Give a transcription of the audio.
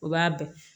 U b'a bɛɛ